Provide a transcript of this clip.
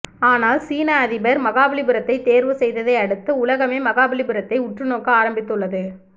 ஆனால் சீன அதிபர் மகாபலிபுரத்தை தேர்வு செய்ததை அடுத்து உலகமே மகாபலிபுரத்தை உற்று நோக்க ஆரம்பித்து உள்ளது